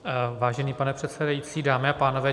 Vážený pane předsedající, dámy a pánové.